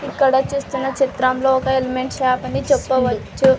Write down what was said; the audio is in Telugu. ఇక్కడ చూస్తున్న చిత్రంలో ఒక ఎలిమెంట్స్ షాప్ అని చెప్పవచ్చు.